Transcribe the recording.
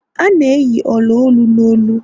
a na-eyi ola-olu n'olu